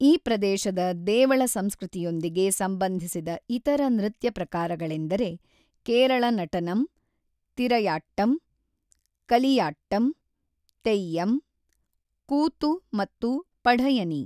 ಈ ಪ್ರದೇಶದ ದೇವಳ ಸಂಸ್ಕೃತಿಯೊಂದಿಗೆ ಸಂಬಂಧಿಸಿದ ಇತರ ನೃತ್ಯ ಪ್ರಕಾರಗಳೆಂದರೆ ಕೇರಳ ನಟನಂ, ತಿರಯಾಟ್ಟಂ, ಕಲಿಯಾಟ್ಟಂ, ತೆಯ್ಯಂ, ಕೂತು ಮತ್ತು ಪಢಯನಿ.